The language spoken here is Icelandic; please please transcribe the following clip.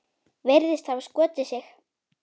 Virðist hafa skotið sig.